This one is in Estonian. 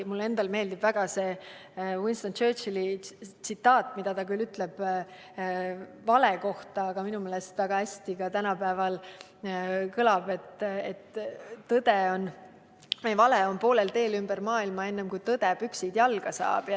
Mulle endale meeldib väga üks Winston Churchilli tsitaat, mille ta ütles küll vale kohta, aga mis minu meelest kõlab väga hästi ka tänapäeval: "Vale on juba poolel teel ümber maailma, enne kui tõde püksid jalga saab.